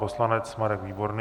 Poslanec Marek Výborný.